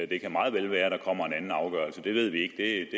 det kan meget vel være at der kommer en anden afgørelse det ved vi